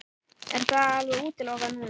Er það alveg útilokað núna?